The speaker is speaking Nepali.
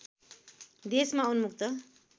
देशमा उन्मुक्त